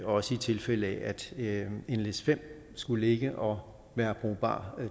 også i tilfælde af at nles5 skulle ligge og være brugbar